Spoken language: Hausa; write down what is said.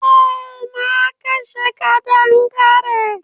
Eh na kashe kadangare.